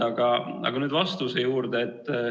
Aga nüüd vastuse juurde.